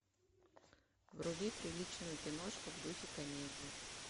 вруби приличную киношку в духе комедии